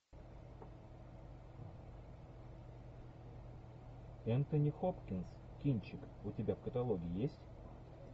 энтони хопкинс кинчик у тебя в каталоге есть